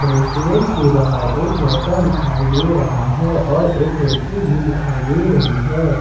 Restaurant के बाहर एक लड़का दिखाई दे रहा है और एक लड़की भी दिखाई दे रही है।